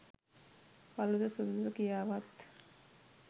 කළුද සුදුද කියාවත්